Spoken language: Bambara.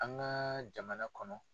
An ka jamana kɔnɔ